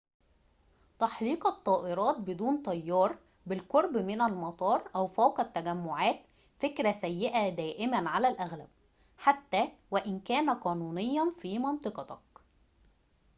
تحليق الطائرات بدون طيار بالقرب من المطار أو فوق التجمعات فكرة سيئة دائماً على الأغلب حتى وإن كان قانونياً في منطقتك